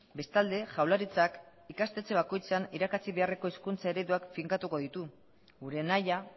bestalde jaurlaritzak ikastetxe bakoitzean irakatsi beharreko hizkuntza ereduak finkatuko ditu gure nahia